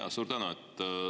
Jaa, suur tänu!